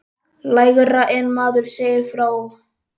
Lægra en maður segir frá.